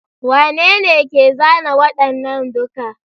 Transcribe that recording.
Wanene ke zana waɗannan duka?